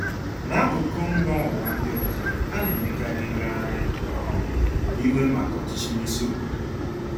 N'akụkụ mba ụwa ndị ọzọ, ana-emekarị ngagharị um iwe maka ọchịchị n'isi obodo.